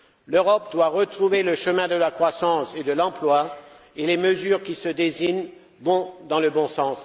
L'Europe doit retrouver le chemin de la croissance et de l'emploi et les mesures qui se dessinent vont dans le bon sens.